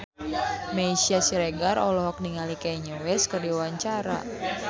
Meisya Siregar olohok ningali Kanye West keur diwawancara